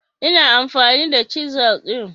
Ina amfani da chisel din